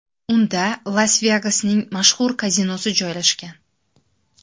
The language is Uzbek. Unda Las-Vegasning mashhur kazinosi joylashgan.